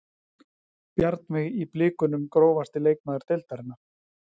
Bjarnveig í blikunum Grófasti leikmaður deildarinnar?